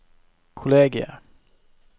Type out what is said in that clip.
kollegiet